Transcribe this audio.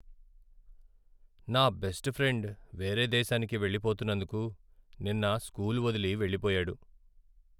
నా best friend వేరే దేశానికి వెళ్ళిపోతున్నందుకు నిన్న స్కూల్ వదిలి వెళ్లిపోయాడు.